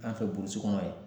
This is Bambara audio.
An fɛ burusi kɔnɔ yan